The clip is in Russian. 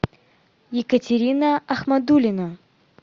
екатерина ахмадулина